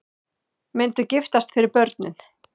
Myndu giftast fyrir börnin